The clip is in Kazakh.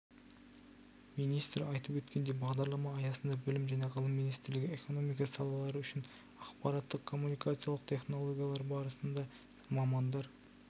министр айтып өткендей бағдарлама аясында білім және ғылым министрлігі экономика салалары үшін ақпараттық-коммуникациялық технологиялар саласында мамандар